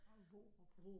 Og Vorup